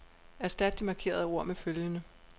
Erstat de markerede ord med følgende.